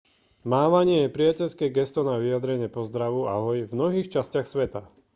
mávanie je priateľské gesto na vyjadrenie pozdravu ahoj v mnohých častiach sveta